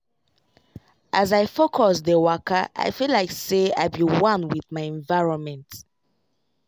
as i focus dey wakai feel like say i be one with my environment.